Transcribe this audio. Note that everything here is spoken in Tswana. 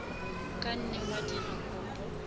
ka nne wa dira kopo